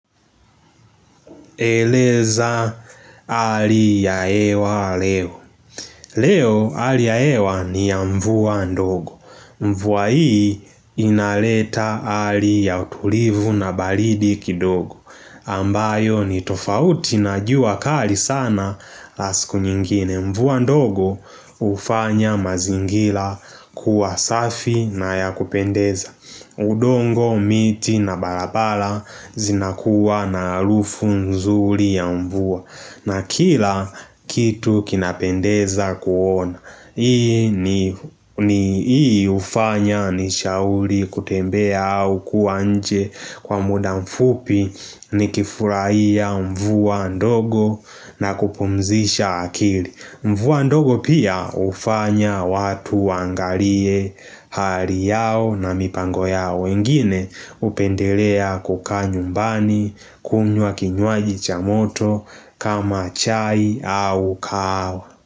Eleza hali ya hewa leo Leo hali ya hewa ni ya mvua ndogo Mvua hii inaleta hali ya utulivu na baridi kidogo ambayo ni tofauti na jua kali sana siku nyingine mvua ndogo ufanya mazingira kuwa safi na yakupendeza udongo, miti na barabara zinakuwa na arufu mzuri ya mvua na kila kitu kinapendeza kuona. Hii ni Hii ufanya ni shauri kutembea au kuwa nje kwa muda mfupi ni kifurahia mvua ndogo na kupumzisha akili. Mvua ndogo pia ufanya watu wangalie hali yao na mipango yao ingine upendelea kuka nyumbani kunywa kinyuaji cha moto kama chai au kahawa.